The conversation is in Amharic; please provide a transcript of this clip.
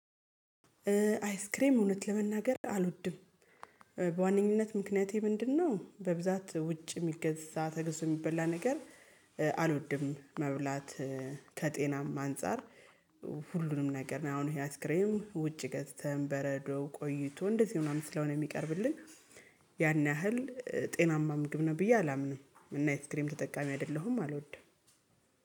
አይስክሬም እውነት ለመናገር አልወድም። በዋነኝነት ምክንያቴ ምንድነው? በብዛት ውጭ የሚገዛ ተገዝቶ የሚበላ ነገር አልወድም መብላት። ከጤናም አንፃር። ሁሉንም ነገር አሁን ይሄ አይስክሬም ውጪ ገዝተን በረዶ ቆይቶ እንደዚህ ምናምን ስለሆነ የሚቀርብልን። ያን ያህል ጤናማ ምግብ ነው ብዬ አላምንም። እና አይስክሬም ተጠቃሚ አይደለሁም አልወድም።